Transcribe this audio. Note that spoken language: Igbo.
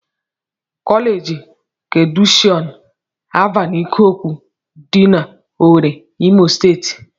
Kọleeji keedukeshọn Alvan Ikokwu dị n'Owere, Imo steeti